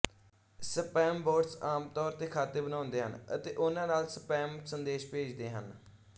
spambots ਆਮ ਤੌਰ ਤੇ ਖਾਤੇ ਬਣਾਉਂਦੇ ਹਨ ਅਤੇ ਉਨ੍ਹਾਂ ਨਾਲ ਸਪੈਮ ਸੰਦੇਸ਼ ਭੇਜਦੇ ਹਨ